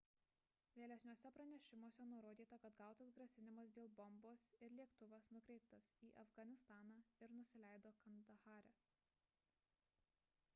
vėlesniuose pranešimuose nurodyta kad gautas grasinimas dėl bombos ir lėktuvas nukreiptas į afganistaną ir nusileido kandahare